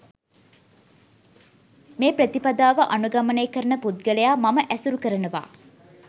මේ ප්‍රතිපදාව අනුගමනය කරන පුද්ගලයා මම ඇසුරු කරනවා.